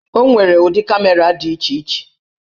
O nwere ụdị kamera dị iche iche.